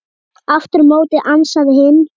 Aftur á móti ansaði hinn